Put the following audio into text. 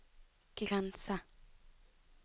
grense